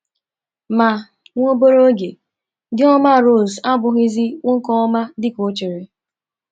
Ma, nwa obere oge, di ọma Rose abụghịzi nwoke ọma dị ka o chere.